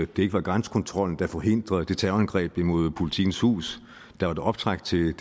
det ikke var grænsekontrollen der forhindrede det terrorangreb imod jppolitikens hus der var optræk til